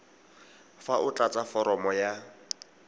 fa o tlatsa foromo ya